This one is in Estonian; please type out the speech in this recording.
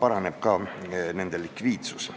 paraneb ka nende likviidsus.